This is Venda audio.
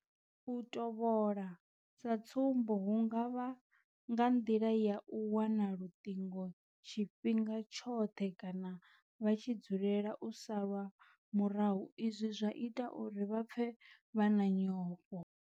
U tovhola sa tsumbo hu nga vha nga nḓila ya u wana luṱingo tshifhinga tshoṱhe kana vha tshi dzulela u salwa murahu izwi zwa ita uri vha pfe vha na nyofho.